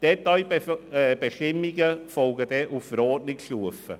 Detailbestimmungen folgen dann auf Verordnungsstufe.